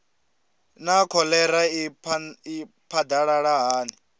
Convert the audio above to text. naa kholera i phadalala hani